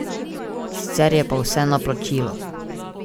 Sicer je pa vse na plačilo.